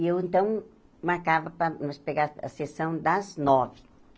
E eu, então, marcava para nós pegar a sessão das nove.